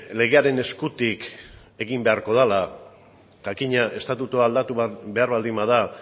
legearen eskutik egin beharko dela jakina estatutua aldatu behar baldin bada